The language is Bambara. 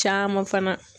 Caman fana